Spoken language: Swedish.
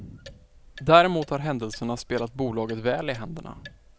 Däremot har händelserna spelat bolaget väl i händerna.